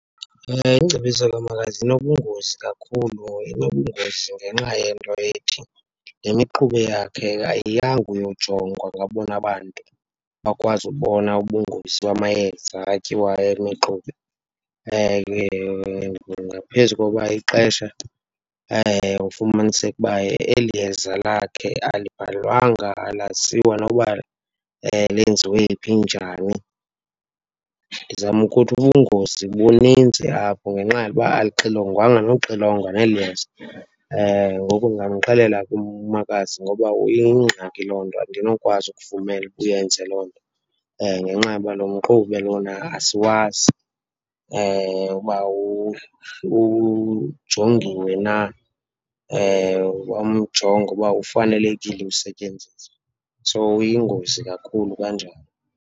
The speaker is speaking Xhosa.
Ingcebiso kamakazi inobungozi kakhulu. Inobungozi ngenxa yento ethi le mixube yakhe ayiyanga uyojongwa ngabona bantu bakwazi ukubona ubungozi bamayeza atyiwayo, yemixube. Ngaphezu kokuba ixesha ufumaniseke uba eli yeza lakhe alibhalwanga, alaziwa nokuba lenziwe phi, njani. Ndizama ukuthi ubungozi bunintsi apho ngenxa yokuba alixilongwanga nokuxilongwa neli yeza. Ngoku ndingamxelela ke umakazi ngoba uyingxaki loo nto, andinokwazi ukuvumela uba uyenze loo nto ngenxa yoba lo mxube lona asiwazi uba ujongiwe na, wamjonga uba ufanelekile usetyenziswa. So, uyingozi kakhulu kanjalo.